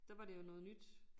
Der var det jo noget nyt